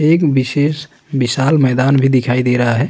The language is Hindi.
एक विशेष विशाल मैदान भी दिखाई दे रहा है।